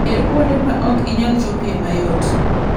Yier kuonde ma ok inyal chopoe mayot.